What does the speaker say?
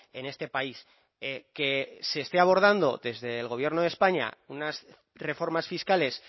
en este país que se esté abordando desde el gobierno de españa unas reformas fiscales